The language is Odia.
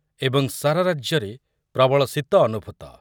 ଏବଂ ସାରା ରାଜ୍ୟରେ ପ୍ରବଳ ଶୀତ ଅନୁଭୂତ ।